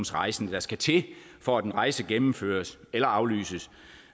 rejsende der skal til for at en rejse gennemføres eller aflyses